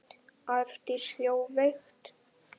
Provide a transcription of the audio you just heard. Arndís hló veikt.